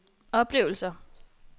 oplevelser